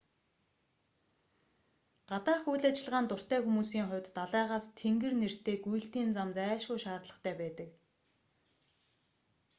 гадаах үйл ажиллагаанд дуртай хүмүүсийн хувьд далайгаас тэнгэр нэртэй гүйлтийн зам зайлшгүй шаардлагатай байдаг